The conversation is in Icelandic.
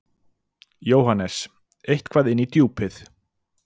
JÓHANNES: Eitthvað inn í Djúpið.